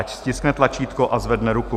Ať stiskne tlačítko a zvedne ruku.